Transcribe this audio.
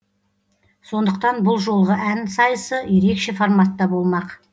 сондықтан бұл жолғы ән сайысы ерекше форматта болмақ